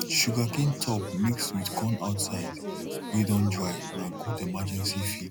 sugarcane top mix with corn outside way don dry na good emergency feed